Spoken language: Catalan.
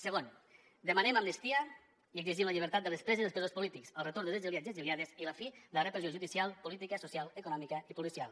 segon demanem amnistia i exigim la llibertat de les preses i els presos polítics el retorn dels exiliats i exiliades i la fi de la repressió judicial política social econòmica i policial